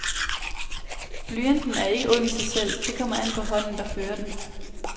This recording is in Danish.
Blyanten er ikke ond i sig selv, det kommer an på hånden, der fører den.